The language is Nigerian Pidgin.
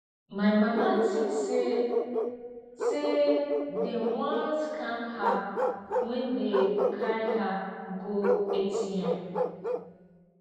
my mama tink sey sey dem wan scam her wen dem carry her go atm